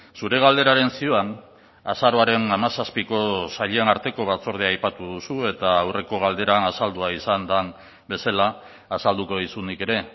zure galderaren zioan azaroaren hamazazpiko sailen arteko batzordea aipatu duzu eta aurreko galderan azaldua izan den bezala azalduko dizut nik ere